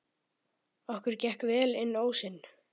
Okkur gekk vel inn ósinn.